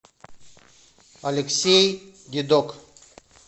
алексей дедок